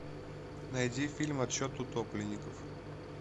найди фильм отсчет утопленников